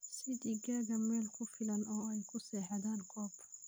Sii digaagga meel ku filan oo ay ku seexdaan coop.